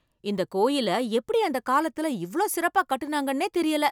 இந்த கோயிலை எப்படி அந்த காலத்துல இவ்ளோ சிறப்பா கட்டுனாங்கண்ணே தெரியல!